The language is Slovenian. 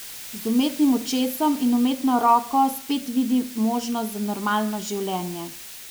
Z umetnim očesom in umetno roko spet vidi možnost za normalno življenje.